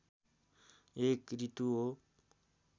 एक ऋतु हो